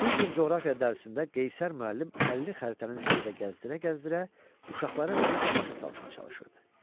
Bir gün coğrafiya dərsində Qeyşər müəllim əlini xəritənin üstündə gəzdirə-gəzdirə uşaqlara nəyisə başa salmağa çalışırdı.